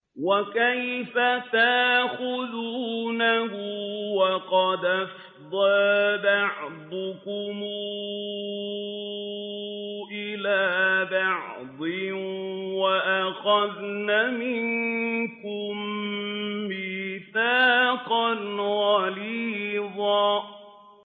وَكَيْفَ تَأْخُذُونَهُ وَقَدْ أَفْضَىٰ بَعْضُكُمْ إِلَىٰ بَعْضٍ وَأَخَذْنَ مِنكُم مِّيثَاقًا غَلِيظًا